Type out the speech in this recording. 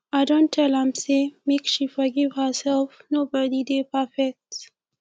i don tell am sey make she forgive herself nobodi dey perfect